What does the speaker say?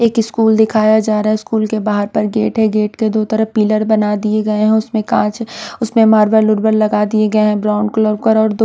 एक स्कूल दिखाया जा रहा हैं स्कूल के बाहर पर गेट हैं गेट के दो तरफ पिलर बना दिए गए हैं उसमें काँच उसमें मार्बल वुरबल लगा दिए गए हैं ब्राउन कलर कर और दो--